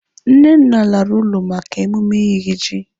Nnenna lara ụlọ maka emume iri ji.